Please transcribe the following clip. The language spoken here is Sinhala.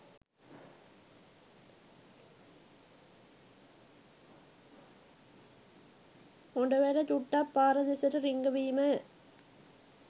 හොඬවැල චුට්ටක් පාර දෙසට රිංගවීමය.